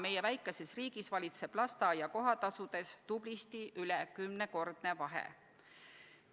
Meie väikeses riigis valitseb lasteaia kohatasudes tublisti üle 10-kordne vahe.